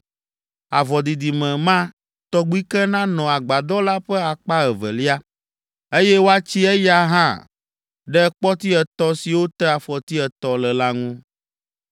Avɔ didime ma tɔgbi ke nanɔ agbadɔ la ƒe akpa evelia, eye woatsi eya hã ɖe kpɔti etɔ̃ siwo te afɔti etɔ̃ le la ŋu.